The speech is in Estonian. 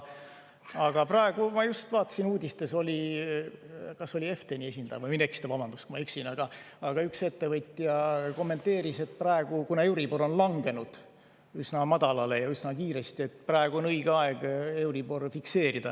Aga praegu ma just vaatasin, uudistes oli, et EfTEN-i esindaja – võin eksida, vabandust, kui ma eksin –, üks ettevõtja kommenteeris, et kuna euribor on langenud üsna madalale ja üsna kiiresti, siis praegu on õige aeg fikseerida.